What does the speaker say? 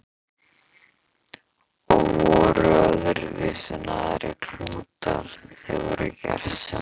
Og voru öðruvísi en aðrir klútar, þeir voru gersemi.